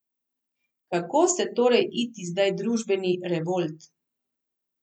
Kako se torej iti zdaj družbeni revolt?